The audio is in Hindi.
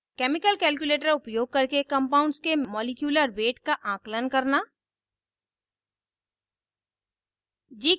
chemical calculator उपयोग करके compounds के मॉलीक्यूलर weight molecular weight का आंकलन करना